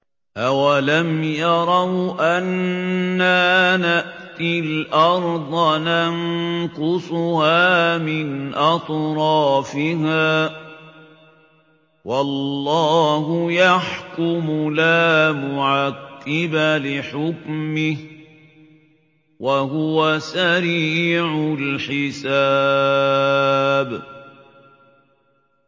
أَوَلَمْ يَرَوْا أَنَّا نَأْتِي الْأَرْضَ نَنقُصُهَا مِنْ أَطْرَافِهَا ۚ وَاللَّهُ يَحْكُمُ لَا مُعَقِّبَ لِحُكْمِهِ ۚ وَهُوَ سَرِيعُ الْحِسَابِ